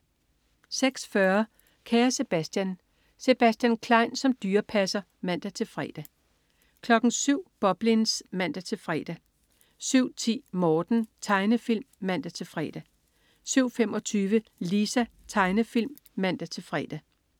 06.40 Kære Sebastian. Sebastian Klein som dyrepasser (man-fre) 07.00 Boblins (man-fre) 07.10 Morten. Tegnefilm (man-fre) 07.25 Lisa. Tegnefilm (man-fre)